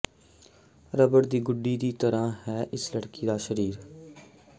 rubber ਦੀ ਗੁੱਡੀ ਦੀ ਤਰ੍ਹਾਂ ਹੈ ਇਸ ਲੜਕੀ ਦਾ ਸਰੀਰ